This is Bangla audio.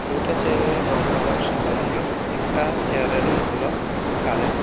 দুইটা চেয়ার এর রং হল সাদা রঙের একটা চেয়ার এর রং হল কালো।